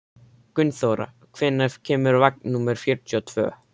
Gunnþóra, hvenær kemur vagn númer fjörutíu og tvö?